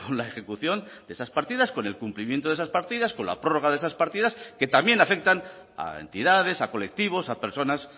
la ejecución de esas partidas con el cumplimiento de esas partidas con la prórroga de esas partidas que también afectan a entidades a colectivos a personas